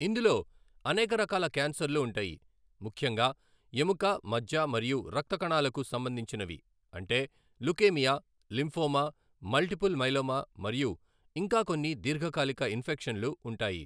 ఇందులో అనేక రకాల క్యాన్సర్లు ఉంటాయి, ముఖ్యంగా ఎముక మజ్జ మరియు రక్త కణాలకు సంబంధించినవి అంటే లుకేమియా, లింఫోమా, మల్టిపుల్ మైలోమా మరియు ఇంకా కొన్ని దీర్ఘకాలిక ఇన్ఫెక్షన్లు ఉంటాయి.